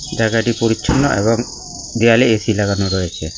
জায়গাটি পরিচ্ছন্ন এবং দেওয়ালে এ_সি লাগানো রয়েছে।